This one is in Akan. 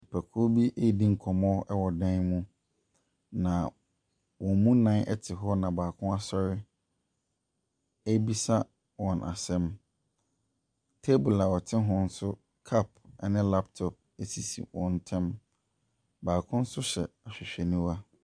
Nnipakuo bi redi nkɔmmɔ wɔ dan mu, na wɔn mu nnan te hɔ na baako asɔre rebisa wɔn asɛm. Table a wɔte ho nso, cup ne laptop sisi wɔn ntam. Baako nso hyɛ ahwehwɛniwa.